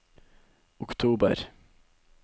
oktober